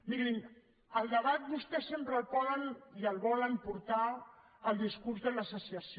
mirin el debat vostès sempre el poden i el volen portar al discurs de la secessió